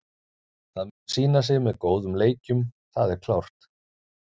Það mun sýna sig með góðum leikjum, það er klárt.